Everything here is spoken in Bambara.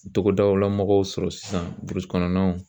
Togodaw la mɔgɔw sɔrɔ sisan kɔnɔnaw